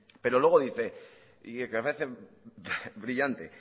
pero luego dice y que parece brillante